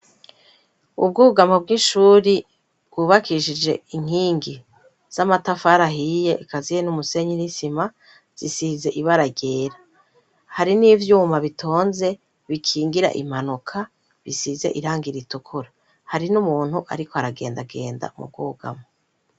Ubwugama bw'ishuri bwubakishije inkingi z'amatafarahiye kaziye n'umusenyi n'isima zisize ibara ryera hari n'ivyuma bitonze bikingira impanuka bisize irangira itukura hari n'umuntu, ariko aragenda agenda mu bwugama.